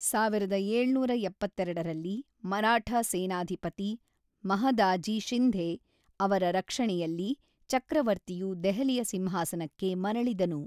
ಸಾವಿರದ ಏಳುನೂರ ಎಪ್ಪತೇರಡರಲ್ಲಿ ಮರಾಠ ಸೇನಾಧಿಪತಿ ಮಹದಾಜಿ ಶಿಂಧೆ ಅವರ ರಕ್ಷಣೆಯಲ್ಲಿ ಚಕ್ರವರ್ತಿಯು ದೆಹಲಿಯ ಸಿಂಹಾಸನಕ್ಕೆ ಮರಳಿದನು.